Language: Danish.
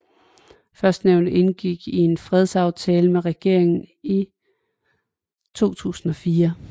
Førstnævnte indgik en fredsaftale med regeringen i 2004